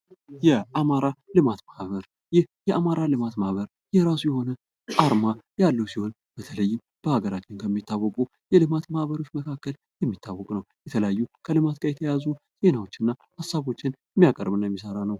የአማራ ልማት ማህበር ። ይህ የአማራ ልማት ማህበር የራሱ የሆነ አርማ ያለው ሲሆን በተለይም በሀገራችን ከሚታወቁ የልማት ማኅበሮች መካከል የሚታወቅ ነው ። የተለያዩ ከልማት ጋር የተያያዙ ዜናዎች እና ሀሳቦችን ሚያቀርብ እና ሚሰራ ነው ።